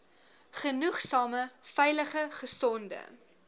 genoegsame veilige gesonde